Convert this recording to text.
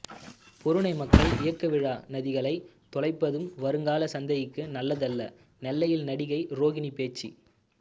பொருநை மக்கள் இயக்க விழா நதிகளை தொலைப்பது வருங்கால சந்ததிக்கு நல்லதல்ல நெல்லையில் நடிகை ரோகிணி பேச்சு